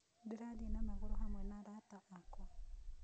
Ndĩrathĩĩ na magũrũ hamwe na arata akwa